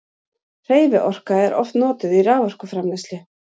hreyfiorka er oft notuð í raforkuframleiðslu